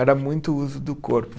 Era muito o uso do corpo.